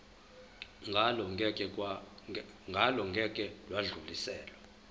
ngalo ngeke lwadluliselwa